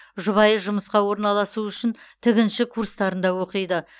жұбайы жұмысқа орналасу үшін тігінші курстарында оқиды